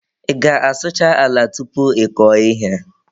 Ị ga-asụcha ala tupu ị kọọ ihe.